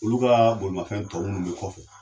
Olu ka bolimanfɛn tɔ minnu bi kɔfɛ